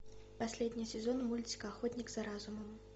последний сезон мультика охотник за разумом